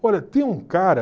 Olha, tem um cara...